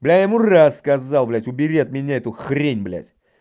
бля я ему рассказал блядь убери от меня эту хрень блядь